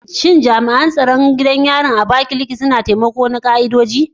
Shin jami’an tsaron gidan yarin na Abakaliki suna da takamaiman ka’idoji?